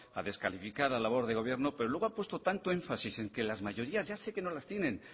a descalificar la labor del gobierno pero luego ha puesto tanto énfasis en que las mayorías ya sé que no las tienen